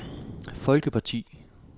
folkeparti